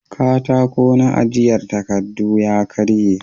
Katako na ajiyan takardu ya karye